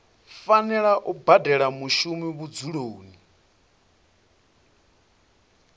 fanela u badela mushumi vhudzuloni